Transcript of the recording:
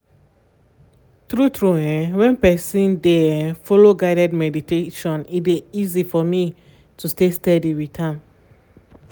true true[um]when person dey[um]follow guided meditation e dey easy for me to stay steady with am